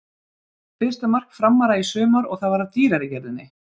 Fyrsta mark Framara í sumar og það var af dýrari gerðinni.